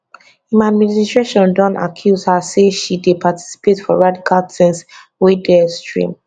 im administration don accuse her say she dey participate for radical things wey dey extreme